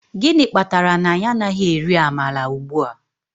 Gịnị kpatara na anyị anaghị eri amala ugbua?